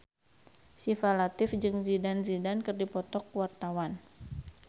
Syifa Latief jeung Zidane Zidane keur dipoto ku wartawan